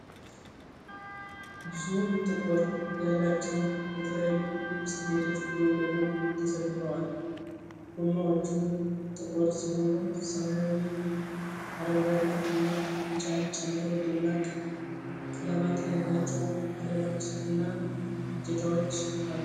ብዙ ቁጥር ያላቸው የተለያዩ ብስክሌቶች ጎን ለጎን ተሰልፈዋል። ጎማዎቹ ጥቁር ሲሆኑ ሰማያዊ፣ አረንጓዴ እና ቢጫን ጨምሮ ደማቅ ቀለማት ያላቸው ፍሬሞች እና እጀታዎች አሉ።